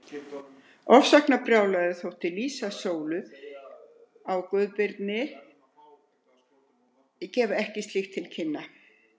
Ofsóknarbrjálæði, þótt lýsing Sólu á Guðbirni gefi ekki slíkt til kynna.